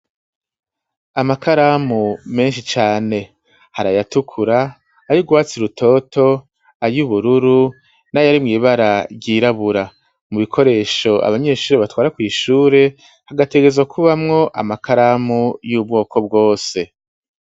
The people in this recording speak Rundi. Amakaramu menshi cane harayatukura ayo uguwatsi rutoto ayo ubururu n'ayarimwibara ryirabura mu bikoresho abanyeshuri batwara kw'ishure hagategezo kubamwo amakaramu y'ubwoko bwose.